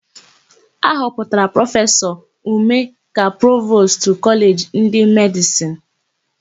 A họpụtara Prọfesọ Ume ka Provostu Kọleji nke Medịsịnụ.